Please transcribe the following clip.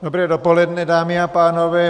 Dobré dopoledne, dámy a pánové.